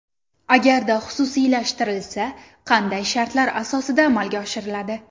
Agarda xususiylashtirilsa, qanday shartlar asosida amalga oshiriladi?